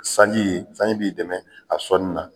Sanji sanji b'i dɛmɛ a sɔnni na.